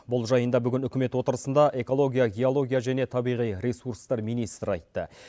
бұл жайында бүгін үкімет отырысында экология геология және табиғи ресурстар министрі айтты